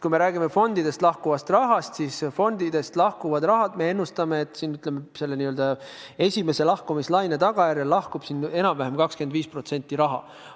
Kui me räägime fondidest lahkuvast rahast, siis fondidest lahkub meie ennustuse kohaselt esimese lahkumislaine tagajärjel enam-vähem 25% rahast.